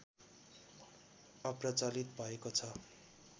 अप्रचलित भएको छ